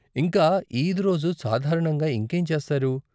ఇంకా, ఈద్ రోజు సాధారణంగా ఇంకేం చేస్తారు?